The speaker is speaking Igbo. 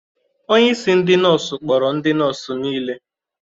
Onye isi ndị nọọsụ kpọrọ ndị nọọsụ niile.